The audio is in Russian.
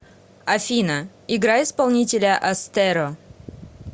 афина играй исполнителя астеро